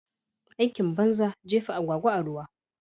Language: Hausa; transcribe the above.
Aikin banza jefa agwagwa a ruwa.